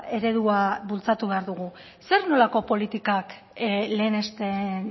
eredua bultzatu behar dugu zer nolako politikak lehenesten